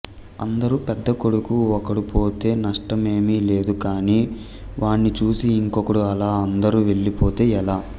అందుకు పెద్ద కొడుకు ఒకడు పోతే నష్టమేమి లేదు కాని వాణ్ణి చూసి ఇంకొకడు అలా అందరు వెళ్లిపోతే ఎలా